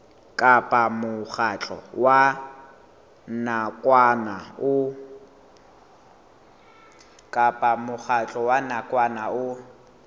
kapa mokgatlo wa nakwana o